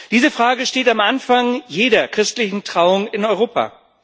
Diese Frage steht am Anfang jeder christlichen Trauung in Europa.